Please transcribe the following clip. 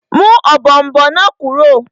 Mú ọ̀bọ̀ọ̀nbọọ̀n náà kúrò!